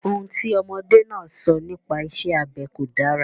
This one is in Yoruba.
Ohun tí ọmọdé náà sọ nipa isẹ́ abẹ kò dára.